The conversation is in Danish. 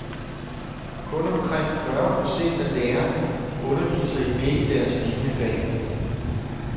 Kun omkring fyrre procent af lærerne underviser i begge deres liniefag.